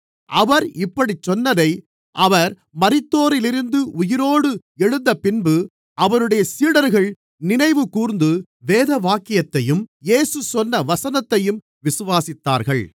அவர் இப்படிச் சொன்னதை அவர் மரித்தோரிலிருந்து உயிரோடு எழுந்தபின்பு அவருடைய சீடர்கள் நினைவுகூர்ந்து வேதவாக்கியத்தையும் இயேசு சொன்ன வசனத்தையும் விசுவாசித்தார்கள்